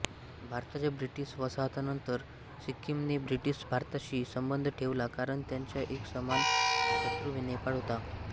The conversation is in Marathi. भारताच्या ब्रिटीश वसाहतनंतर सिक्किमने ब्रिटीश भारताशी संबंध ठेवला कारण त्यांचा एक समान शत्रू नेपाळ होता